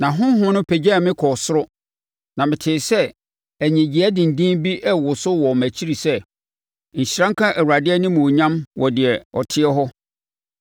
Na Honhom no pagyaa me kɔɔ soro na metee sɛ nnyegyeeɛ denden bi reworo so wɔ mʼakyi sɛ, Nhyira nka Awurade animuonyam wɔ deɛ ɔteɛ hɔ!